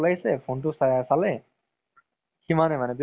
এই খালী কিবা হেৰি উলাই legend of hanuman